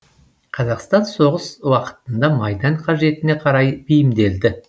қазақстан соғыс уақытында майдан қажетіне қарай бейімделді